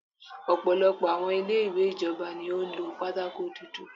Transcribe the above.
Ọ̀pọ̀lọpọ̀ àwọn ilé ìwé ìjọba ni ó lo pátákó dúdú.